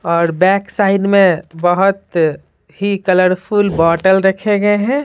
और back side में बहुत ही कलरफुल बोतल रखे गए हैं।